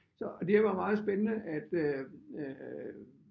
Så og det var meget spændende at øh øh